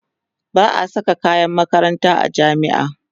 ba'a Saka kayan makaranta a jami'a